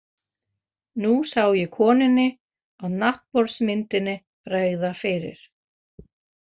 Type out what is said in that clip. Nú sá ég konunni á náttborðsmyndinni bregða fyrir.